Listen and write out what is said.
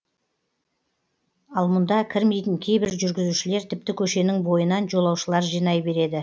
ал мұнда кірмейтін кейбір жүргізушілер тіпті көшенің бойынан жолаушылар жинай береді